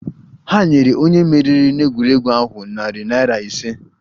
Ha nyere onye meriri n'egwuregwu ahụ narị naira ise